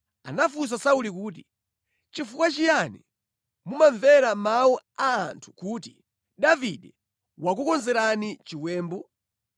Anafunsa Sauli kuti, “Nʼchifukwa chiyani mumamvera mawu a anthu kuti, ‘Davide wakukonzerani chiwembu?’